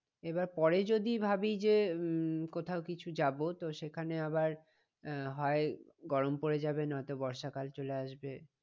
এবার পরে যদি ভাবি যে উম কোথাও কিছু যাবো তো সেখানে আবার আহ হয় গরম পরে যাবে না তো বর্ষা কাল চলে আসবে।